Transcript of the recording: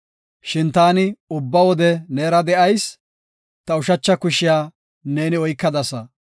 Shin taani ubba wode neera de7ayis; ta ushacha kushiya neeni oykadasa.